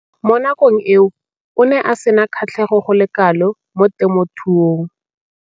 Mo nakong eo o ne a sena kgatlhego go le kalo mo temothuong.